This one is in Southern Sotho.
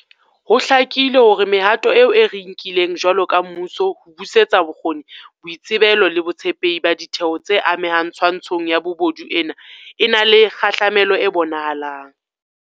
Ho hlakile hore mehato eo re e nkileng jwalo ka mmuso ho busetsa bokgoni, boitsebelo le botshepehi ba ditheo tse amehang twantshong ya bobodu e na le kgahlamelo e bonahalang.